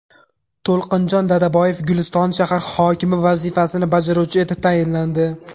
To‘lqinjon Dadaboyev Guliston shahar hokimi vazifasini bajaruvchi etib tayinlandi.